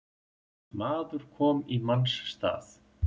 Maður komi í manns stað